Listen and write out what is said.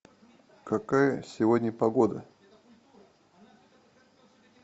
какая сегодня погода